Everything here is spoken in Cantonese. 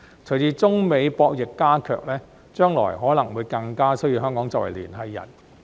隨着中美博弈加劇，將來可能會更加需要香港作為聯繫人。